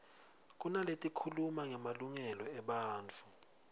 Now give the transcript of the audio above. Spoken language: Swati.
kunaletikhuluma ngemalungelo ebantfu